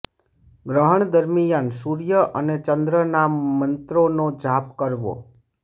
ગ્રહણ દરમિયાન સૂર્ય અને ચંદ્રના મંત્રોનો જાપ કરવો